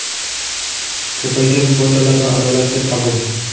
ko‘paygan kvotalar va adolatli qabul.